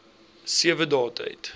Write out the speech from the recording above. sewe dae tyd